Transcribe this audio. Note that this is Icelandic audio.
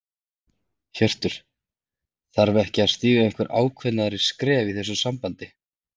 Hjörtur: Þarf ekki að stíga einhver ákveðnari skref í þessu sambandi?